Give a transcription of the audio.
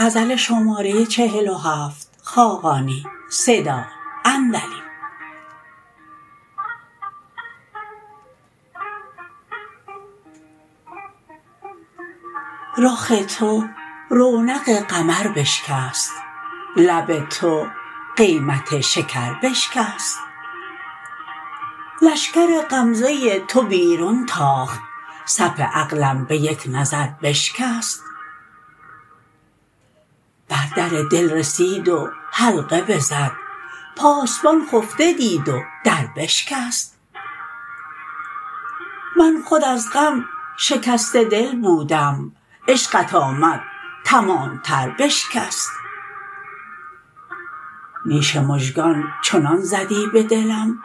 رخ تو رونق قمر بشکست لب تو قیمت شکر بشکست لشکر غمزه تو بیرون تاخت صف عقلم به یک نظر بشکست بر در دل رسید و حلقه بزد پاسبان خفته دید و در بشکست من خود از غم شکسته دل بودم عشقت آمد تمام تر بشکست نیش مژگان چنان زدی به دلم